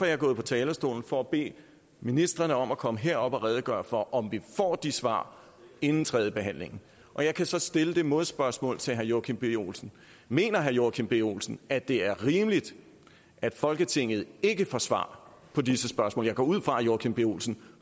jeg gået på talerstolen for at bede ministrene om at komme herop og redegøre for om vi får de svar inden tredjebehandlingen og jeg kan så stille det modspørgsmål til herre joachim b olsen mener herre joachim b olsen at det er rimeligt at folketinget ikke får svar på disse spørgsmål jeg går ud fra at herre joachim b olsen